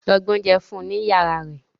Lọ gbé oúnjẹ fún un ní yàrá rẹ̀